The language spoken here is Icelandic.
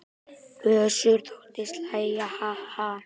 Össur þóttist hlæja: Ha ha.